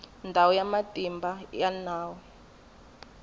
ndhawu ya matimba ya nawu